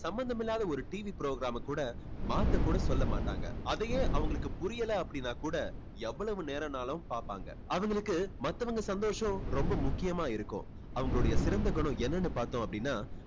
சம்பந்தமில்லாத ஒரு TV program மை கூட மாத்த கூட சொல்ல மாட்டாங்க. அதையே அவங்களுக்கு புரியல அப்படின்னா கூட எவ்வளவு நேரம்னாலும் பார்ப்பாங்க. அவங்களுக்கு மத்தவங்க சந்தோஷம் ரொம்ப முக்கியமா இருக்கும். அவங்களுடைய சிறந்த குணம் என்னன்னு பார்த்தோம் அப்படின்னா